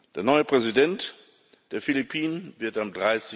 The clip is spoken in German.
Der neue Präsident der Philippinen wird